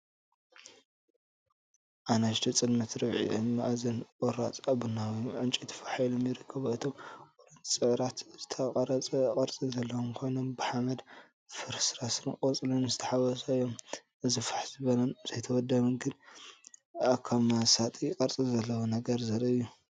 ንኣሽቱ ጸለምትን ርብዒ-መኣዝንን ቁራጽ ኣብ ቡናዊ ዕንጨይቲ ፋሕ ኢሎም ይርከቡ። እቶም ቁርጽራጻት ዝተቐርጸ ቅርጺ ዘለዎም ኮይኖም ብሓመድን ፍርስራስ ቆጽልን ዝተሓዋወሰ እዮም። እዚ ፋሕ ዝበለን ዘይተወደበን፡ ግን ከኣ መሳጢ ቅርጺ ዘለዎ ነገር ዘርኢ እዩ።